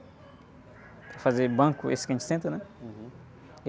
Para fazer banco, esse que a gente senta, né?hum.